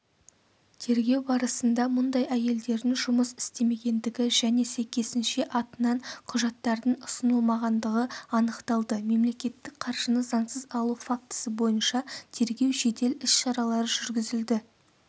тергеу барысында мұндай әйелдердің жұмыс істемегендігі және сәйкесінше атынан құжаттардың ұсынылмағандығы анықталды мемлекеттік қаржыны заңсыз алу фактісі бойынша тергеу-жедел іс-шаралары жүргізілді